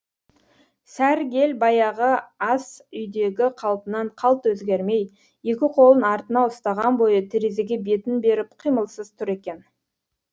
сәргел баяғы ас үйдегі қалпынан қалт өзгермей екі қолын артына ұстаған бойы терезеге бетін беріп қимылсыз тұр екен